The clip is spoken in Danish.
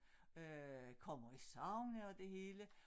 Øh kommer i sauna og det hele